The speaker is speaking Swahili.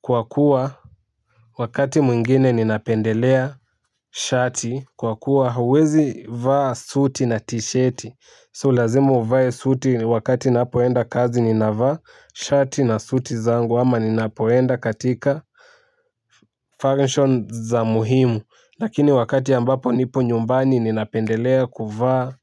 kwa kuwa wakati mwingine ninapendelea shati kwa kuwa uwezi vaa suti na tisheti so lazima uvae suti wakati napoenda kazi ninavaa shati na suti zangu ama ninapoenda katika function za muhimu lakini wakati ambapo nipo nyumbani ninapendelea kuvaa